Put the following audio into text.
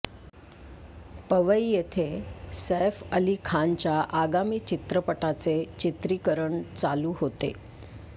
पवई येथे सैफ अली खानच्या आगामी चित्रपटाचे चित्रिकरण चालू होते